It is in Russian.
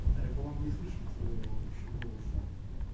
вот а я по-моему не слышал твоего ещё голоса